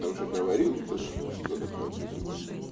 уже говорил что такое безумие